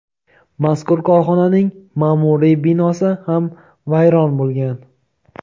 mazkur korxonaning ma’muriy binosi ham vayron bo‘lgan.